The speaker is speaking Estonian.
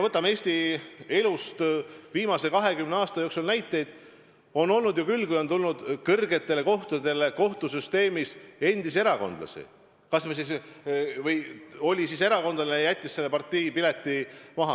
Eesti elus on viimase 20 aasta jooksul olnud näiteid ju küll, kui on tulnud kõrgetele kohtadele kohtusüsteemis endisi erakondlasi või keegi oli erakondlane ja jättis parteipileti maha.